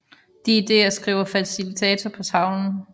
De ideer skriver facilitator på tavlen